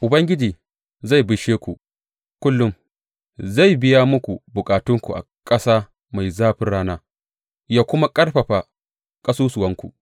Ubangiji zai bishe ku kullum; zai biya muku bukatunku a ƙasa mai zafin rana ya kuma ƙarfafa ƙasusuwanku.